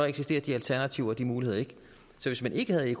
eksisterer de alternativer og de muligheder ikke så hvis man ikke havde